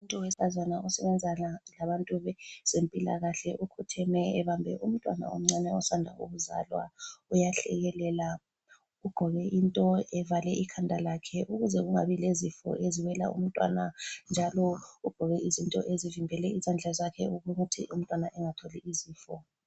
Umuntu wesifazane osebenza labantu bezempilakahle ukhotheme ebambe umntwana omncane osanda kuzalwa. Uyahlekelela ugqoke into evale ikhanda lakhe ukuze kungabi lezifo eziwela umntwana njalo ugqoke izinto ezivimbele izandla zakhe ukuthi umntwana engatholi izifo.